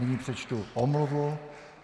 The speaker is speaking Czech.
Nyní přečtu omluvu.